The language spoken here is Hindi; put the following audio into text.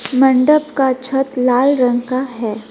मंडप का छत लाल रंग का है।